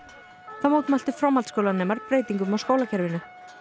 þá mótmæltu framhaldsskólanemar breytingum á skólakerfinu